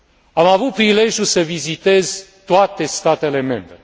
Am avut prilejul să vizitez toate statele membre.